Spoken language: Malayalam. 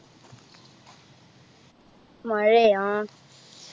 മഴയ ആ